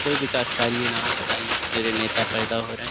کوئی ویکاس کارے نہ ہیں، بتائیں نیتا پیدا ہو رہے ہیں۔.